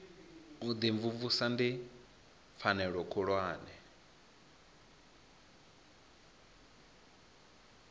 u imvumvusa ndi pfanelo khulwane